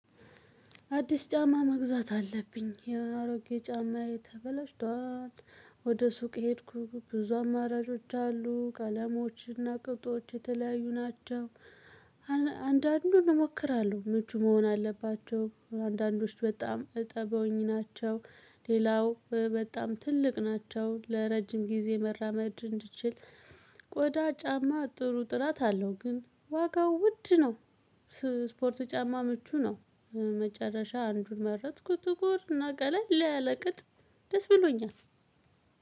አዲስ ጫማ መግዛት አለብኝ የአሮጌ ጫማዬ ተበላሽቷል። ወደ ሱቅ ሄድኩ ብዙ አማራጮች አሉ ከአለሞችና ቅብጦች የተለያዩ ናቸው። አንዳንዱን እሞክራለሁ እጁ መሆን አለባቸው አንዳንዶች በጣም እጠበውኝ ናቸው። ሌላው በጣም ትልቅ ናቸው ለረጅም ጊዜ መራመድ እንድችል። ቆዳ ጫማ ጥሩ ጥራት አለው ግን ዋጋው ውድ ነው። ስፖርት ጫማ ምቹ ነው። መጨረሻ አንዱን መረጥኩ ትኩርና ገለል ላይ አለቅጥ። ደስ ብሎኛል።